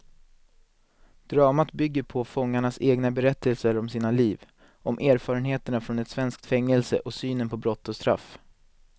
Dramat bygger på fångarnas egna berättelser om sina liv, om erfarenheterna från ett svenskt fängelse och synen på brott och straff.